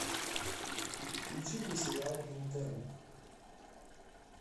включи мне сериал интерны